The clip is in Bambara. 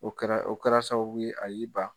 O kɛra o kɛra sababu ye a y'i ban.